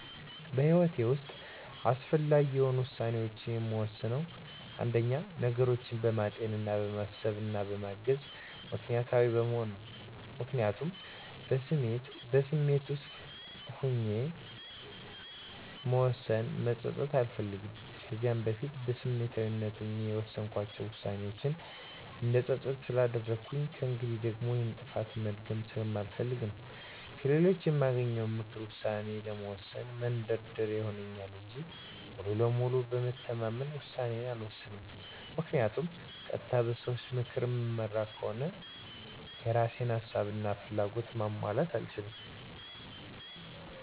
በህይወቴ ውሰጥ አስፈላጊ የሆኑ ውሳኔዎችን የምወስነው አንደኛ፦ ነገሮችን በማጤን፣ በማሰብ እና በማመዛዘን ምክኒያታዊ በመሆን ነው። ምክንያቱም በስሜት ወስኜ በውሳኔዬ መፀፀት አልፈልግም። ከዚህ በፊት በስሜታዊነት ሆኜ የወሰንኳቸው ዉሳኔዎቼ እንድፀፀት ስላደረጉኝ ከእንግዲህም ደግሞ ይሄንን ጥፋቴ መድገም ስለማልፈልግ ነው። ከሌሎች የማገኘውንም ምክር ውሳኔ ለመወሰን መንደርደሪያ ይሆንልኛል እንጂ ሙሉ በሙሉ በመተማመን ውሳኔዬን አልወሰንም ምክንያቱም ቀጥታ በሰዎች ምክር እምመራ ከሆነ የእራሴን ሀሳብ እና ፍላጎት ማሟላት አልችልም።